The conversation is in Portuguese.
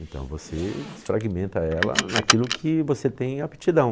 Então você desfragmenta ela naquilo que você tem aptidão.